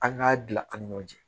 An k'a dilan an ni ɲɔgɔn cɛ